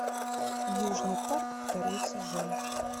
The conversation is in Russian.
южный парк второй сезон